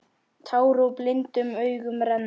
Tár úr blindum augum renna.